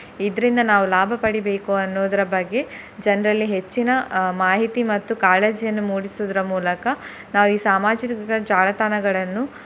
ಇದ್ರಿಂದ ನಾವು ಲಾಭ ಪಡಿಬೇಕು ಅನ್ನುವುದರ ಬಗ್ಗೆ ಜನ್ರಲ್ಲಿ ಹೆಚ್ಚಿನ ಅಹ್ ಮಾಹಿತಿ ಮತ್ತು ಕಾಳಜಿಯನ್ನು ಮೂಡಿಸುದ್ರ ಮೂಲಕ ನಾವು ಈ ಸಾಮಾಜಿಕ ಜಾಲತಾಣಗಳನ್ನು.